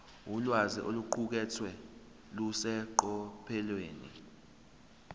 ulwazi oluqukethwe luseqophelweni